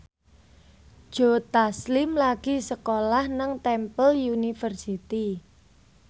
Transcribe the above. Joe Taslim lagi sekolah nang Temple University